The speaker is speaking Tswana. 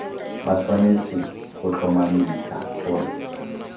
ba tshwanetse go tlhomamisa gore